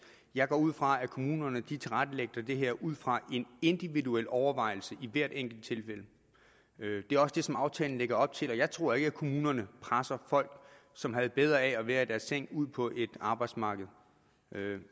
jeg går ud fra at kommunerne tilrettelægger det her ud fra en individuel overvejelse i hvert enkelt tilfælde det er også det som aftalen lægger op til jeg tror ikke at kommunerne presser folk som havde bedre af at være i deres seng ud på arbejdsmarkedet